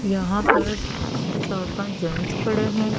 यहां पर चार पांच जेंट्स खड़े हैं।